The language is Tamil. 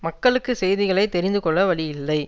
மக்களுக்கு செய்திகளை தெரிந்து கொள்ள வழியில்லை